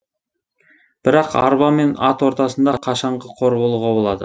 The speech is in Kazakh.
бірақ арба мен ат ортасында қашанғы қор болуға болады